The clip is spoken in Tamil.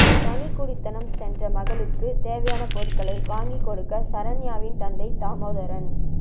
தனிக் குடித்தனம் சென்ற மகளுக்கு தேவையான பொருட்களை வாங்கிக் கொடுக்க சரண்யாவின் தந்தை தாமோதரன்